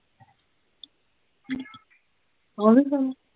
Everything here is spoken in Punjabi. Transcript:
ਆਵੇ ਗਾਨਾ